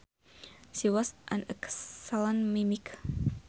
She was an excellent mimic